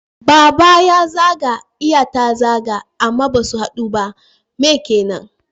Baba ya zaga iya ta zaga amma basu haɗu ba. Me kenan?